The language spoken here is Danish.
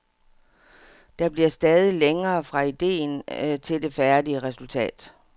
Der bliver stadig længere fra idéen til det færdige resultat.